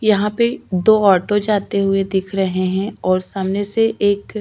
यहाँ पे दो ऑटो जाते हुए दिख रहे है और सामने से एक --